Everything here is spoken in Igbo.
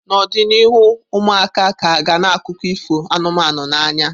N'ọdịnihu, ụmụaka ka ga na akụkọ ifo anụmanụ n'anya.